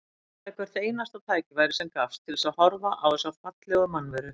Ég notaði hvert einasta tækifæri sem gafst til þess að horfa á þessa fallegu mannveru.